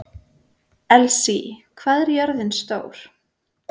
Elsí, hvað er jörðin stór?